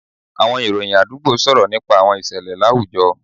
Àwọn ìròyìn àdúgbò sọ̀rọ̀ nípa àwọn ìṣẹ̀lẹ̀ láwùjọ